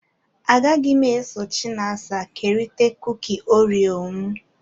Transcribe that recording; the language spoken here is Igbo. Agaghị m eso Chinasa kerịta kuki oreo m.